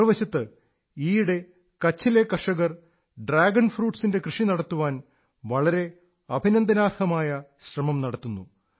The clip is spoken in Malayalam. മറുവശത്ത് ഈയിടെ കച്ഛിലെ കർഷകർ ഡ്രാഗൺ ഫ്രൂട്സ് ന്റെ കൃഷി നടത്താൻ വളരെ അഭിനന്ദനാർഹമായ ശ്രമം നടത്തുന്നു